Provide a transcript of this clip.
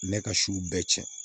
Ne ka siw bɛɛ cɛn